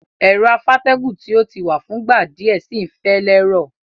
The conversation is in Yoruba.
Ero afátẹ́gùn ti o ti wa fúngbà díẹ̀ si n fẹ́ lẹ́rọ̀